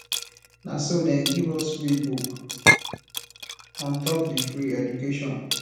na so dem give us free book on top di free education